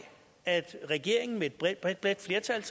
at regeringen med et bredt bredt bredt flertal